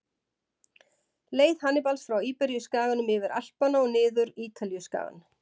Leið Hannibals frá Íberíuskaganum, yfir Alpana og niður Ítalíuskagann.